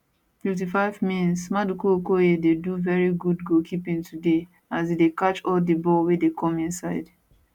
55mins maduka okoye dey do veri good goalkeeping today as e dey catch all di ball wey come im side